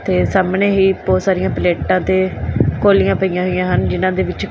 ਤੇ ਸਾਹਮਣੇ ਹੀ ਬਹੁਤ ਸਾਰੀਆਂ ਪਲੇਟਾਂ ਤੇ ਕੋਲੀਆਂ ਪਈਆਂ ਹੋਈਆਂ ਹਨ ਜਿਨਾਂ ਦੇ ਵਿੱਚ--